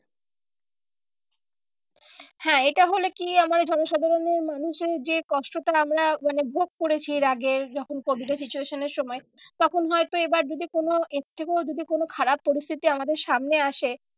হ্যাঁ এটা হলে কি আমায় জনসাধারণের মানুষের যে কষ্টটা আমরা মানে ভোগ করেছি এর আগে যখন covid এর situation এর সময় তখন হয়তো এবার যদি কোনো এর থেকেও যদি কোনো খারাপ পরিস্থিতি আমাদের সামনে আসে